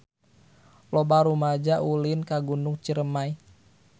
Loba rumaja ulin ka Gunung Ciremay